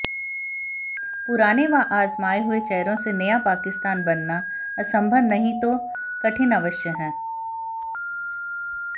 पुराने व आजमाए हुए चेहरों से नया पाकिस्तान बनाना असंभव नहीं तो कठिन अवश्य है